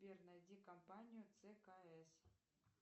сбер найди компанию цкс